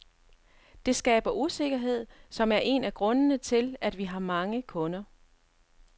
Det skaber usikkerhed, som er en af grundene til, at vi har mange kunder.